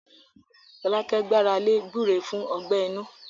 Fọlákẹ́ gbára lé gbúre fún ọgbẹ inú